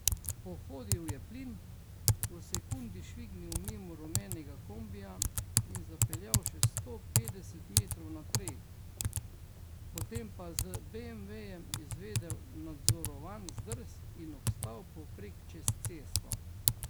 Pohodil je plin, v sekundi švignil mimo rumenega kombija in zapeljal še sto petdeset metrov naprej, potem pa z beemvejem izvedel nadzorovan zdrs in obstal povprek čez cesto.